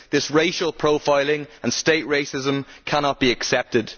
This racial profiling and state racism cannot be accepted.